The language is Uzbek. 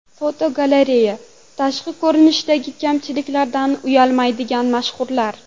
Fotogalereya: Tashqi ko‘rinishdagi kamchiliklaridan uyalmaydigan mashhurlar.